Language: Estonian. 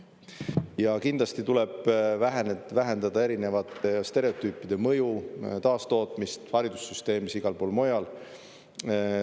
Ja kindlasti tuleb vähendada erinevate stereotüüpide mõju taastootmist haridussüsteemis, igal pool mujal.